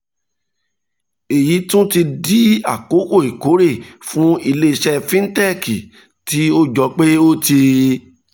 èyí tún ti di àkókò ìkórè fún ilé iṣẹ́ fintech tí ó jọ pé ó ti